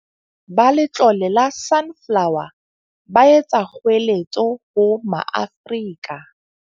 Ba Letlole la Sunflower, ba etsa kgoeletso ho Maafrika.